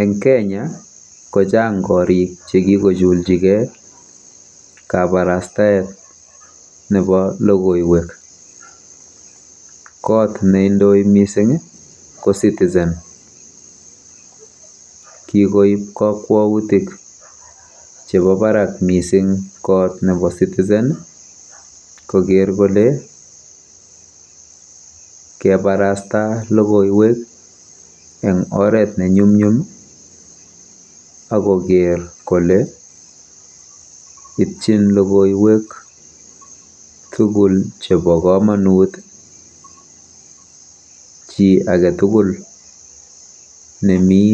Eng kenya kochang korik chekikojulchigei kabarastaet nebo logoiwek. Kot neindoi mising ko Citizen. KIkoib kakwautik chebo barak kot nebo Citizen koker kole kebarasta logoiwek eng oret nenyumnyum akoker kole itchin logoiwek tugul chebo komonut chi age tugul nemi